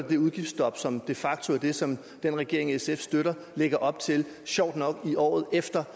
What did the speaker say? det udgiftsstop som de facto er det som den regering sf støtter lægger op til sjovt nok i året efter